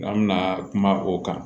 An bɛna kuma o kan